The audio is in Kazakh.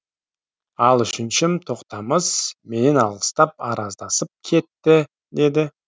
ал үшіншім тоқтамыс менен алыстап араздасып кетті деді